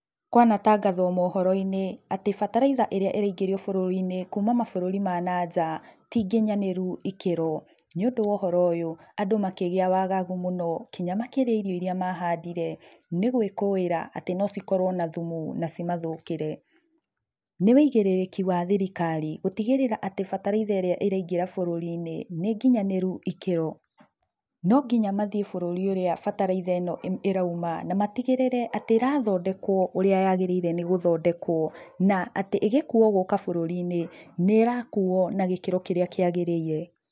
Kwanatangathwo mohoro-inĩ atĩ bataraitha ĩrĩa ĩraingĩrio bũrũrinĩ kuma mabũrũri ma nja ti nginyanĩru ikĩro nĩũndũ wa ũhoro ũyũ andũ makĩgĩa na wagagu mũno nginya makĩria irio iria mahandire nĩgwĩkũĩra atĩ no cikorwo na thumu na ci mathũkĩre. Nĩ wũigĩrĩrĩki wa thirikari gũtigĩrĩra atĩ bataraitha ĩrĩa ĩraingĩra bũrũrinĩ atĩ nĩnginyanĩru ikĩro no nginya mathie bũrũrinĩ ũrĩa bataraitha ĩno ĩrauma matigĩrĩre atĩ nĩĩrathondekwo ũrĩa nyagĩrĩire nĩ gũthokekwo na atĩ ĩgĩkuo gũka bũrũrinĩ nĩĩrakuo na gĩkĩro kĩrĩa kĩagĩrĩire.